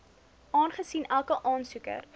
aangesien elke aansoeker